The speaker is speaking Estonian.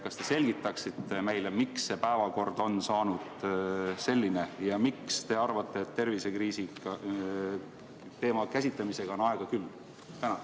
Kas te selgitaksite meile, miks see päevakord on saanud selline, ja miks te arvate, et tervisekriisi teema käsitlemisega on aega küll?